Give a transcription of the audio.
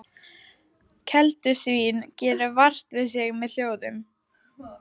Keldusvín gerir vart við sig með hljóðum.